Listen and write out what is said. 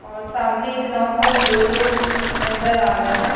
और सामने एक नाव पर दो लोग नज़र आ रहे है।